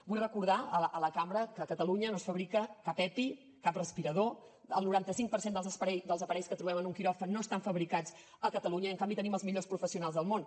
vull recordar a la cambra que a catalunya no es fabrica cap epi cap respirador el noranta cinc per cent dels aparells que trobem en un quiròfan no estan fabricats a catalunya i en canvi tenim els millors professionals del món